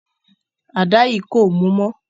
Àda yìí kò mú mọ́.